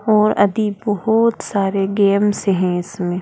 और बहुत सारे गेम्स हैं इसमें।